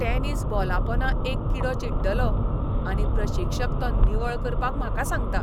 Tennis बॉलापोंदा एक किडो चिड्डलो आनी प्रशिक्षक तो निवळ करपाक म्हाका सांगता.